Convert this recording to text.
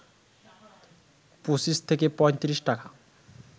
২৫ থেকে ৩৫ টাকা